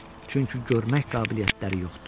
Çünki görmək qabiliyyətləri yoxdur.